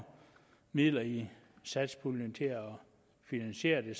midler i satspuljen til at finansiere det